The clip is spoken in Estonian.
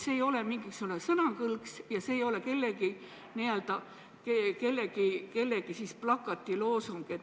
See ei ole mingisugune sõnakõlks, see ei ole kellegi plakati loosung.